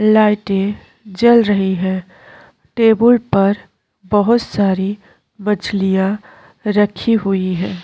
लाइटे जल रहीं हैं टेबल पर बहौत सारी मछलियां रखी हुई हैं।